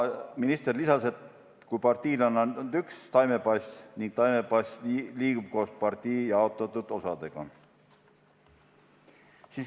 Minister lisas, et kui partiile on antud üks taimepass, siis see liigub koos partii jaotatud osadega.